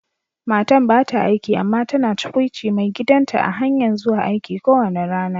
Matan ba ta aiki amma tana tukwuci maigidan ta a'hanyan zuwa aiki kowani rana.